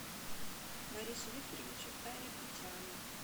борису викторовичу айрапетяну